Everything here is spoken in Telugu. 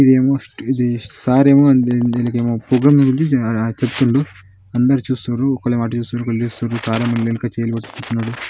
ఇదేమో ఇది సార్ ఏమో దీనికి ఏమో చెప్తుండు. అందరూ చూస్తుండ్రు. ఒకళ్ళేమో అటుచూస్తుండ్రు ఒకళ్ళు ఇటు చూస్తుండ్రు. చాలామంది వెనుక చెయ్ లు పట్టుకుంటున్నారు.